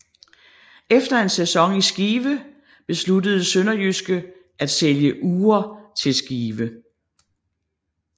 Efter en sæson i Skive besluttede SønderjyskE at sælge Uhre til Skive